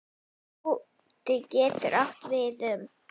Skúti getur átt við um